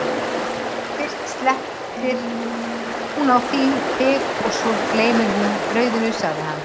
fyrst slettir hún á þig og svo gleymir hún brauðinu, sagði hann.